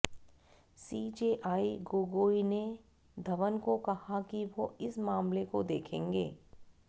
CJI Gogoi ने धवन को कहा कि वो इस मामले को देखेंगे